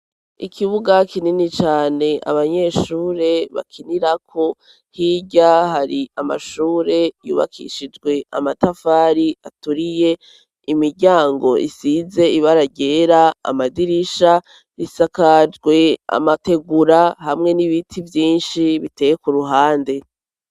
Ikibuga kinini cane abanyeshure bakinirako hirya hari amashure yubakishijwe amatafari aturiye imiryango isize ibararyera amadirisha risakajwe amategura hamwe n'ibiti vyinshi biteye ku ruhande.